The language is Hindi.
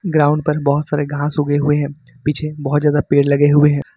ग्राउंड पर बहुत सारे घास उग हुए हैं पीछे बहुत ज्यादा पेड़ लगे हुए हैं।